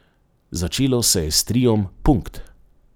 Začelo se je s triom Punkt.